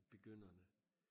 Begynderne